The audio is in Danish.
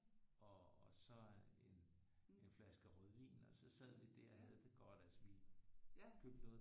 Og så en en flaske rødvin og så sad vi der og havde det godt altså vi købte noget